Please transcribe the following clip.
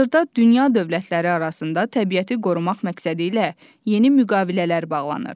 Hazırda dünya dövlətləri arasında təbiəti qorumaq məqsədilə yeni müqavilələr bağlanır.